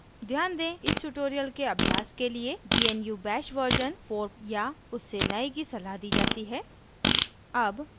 ध्यान दें इस tutorial के अभ्यास के लिए gnu bash version 4 या उससे नए की सलाह दी जाती है